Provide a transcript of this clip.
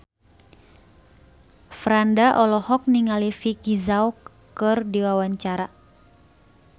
Franda olohok ningali Vicki Zao keur diwawancara